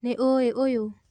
Nĩ ũĩ ũyũ?